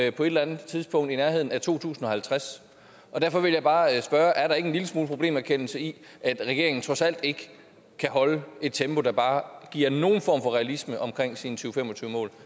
et eller andet tidspunkt i nærheden af to tusind og halvtreds derfor vil jeg bare spørge er der ikke en lille smule problemerkendelse i at regeringen trods alt ikke kan holde et tempo der bare giver nogen form for realisme omkring sine to fem og tyve mål